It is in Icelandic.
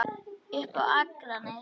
Upp á Akranes.